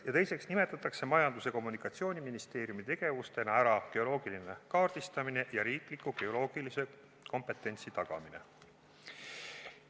Ja teiseks märgitakse Majandus- ja Kommunikatsiooniministeeriumi tegevustena ära geoloogiline kaardistamine ja riikliku geoloogilise kompetentsi tagamine.